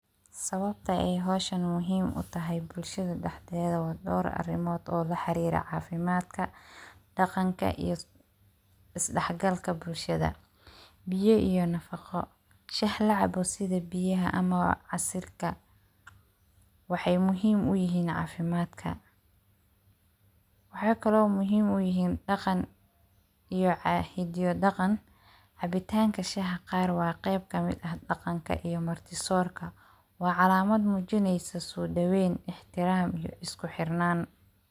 Sawabta eey howshan muhiiim utahay bulshada dhexdeda wa dowr arimod oo laxeriro cafimadka, dhaqanka iyo isdhexgalka bulshada biyo iyo nafaqo shax lacabo sida biyaha ama casirka wexeyy muhiim uyihin cafimadka waxa kalo muhiim uyihin dhaqan iyo hido iyo dhaqan. Cabitanka shaaha qar wa qeyb kamid ah dhaqanka iyo marti sorka wa calamad mujineyso sodaween, ixtiram iyo iskuxirnan.